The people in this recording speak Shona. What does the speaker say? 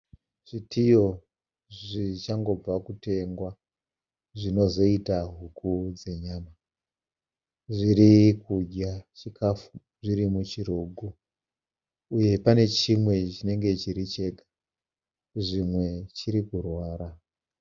Zvitiyo zvichangobva kutengwa zvinozoita huku dzenyama. Zvirikudya chikafu zviri muchirugu uye pane chimwe chinenge chiri chega. Zvimwe chiri kurwara.